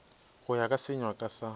go ya ka senyakwa sa